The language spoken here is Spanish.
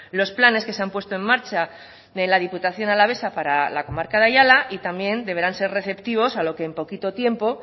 los planes que se han puesto en marcha de la diputación alavesa para la comarca de ayala y también deberán ser receptivos a lo que en poquito tiempo